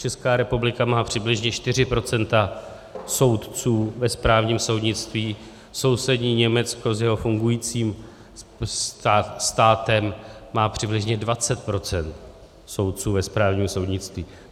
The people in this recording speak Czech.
Česká republika má přibližně 4 % soudců ve správním soudnictví, sousední Německo s jeho fungujícím státem má přibližně 20 % soudců ve správním soudnictví.